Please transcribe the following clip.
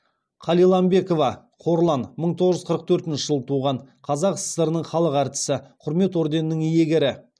қалиламбекова қорлан мың тоғыз жүз қырық төртінші жылы туған қазақ сср інің халық артисі құрмет орденінің иегері